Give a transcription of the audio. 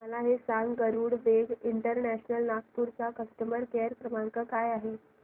मला हे सांग गरुडवेग इंटरनॅशनल नागपूर चा कस्टमर केअर क्रमांक काय आहे